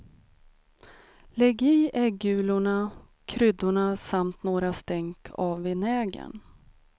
Lägg i äggulorna, kryddorna samt några stänk av vinägern.